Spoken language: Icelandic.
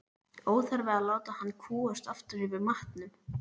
Óþarfi að láta hann kúgast aftur yfir matnum.